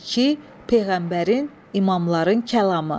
İki, peyğəmbərin, imamların kəlamı.